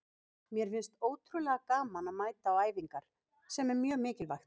Mér finnst ótrúlega gaman að mæta á æfingar, sem er mjög mikilvægt.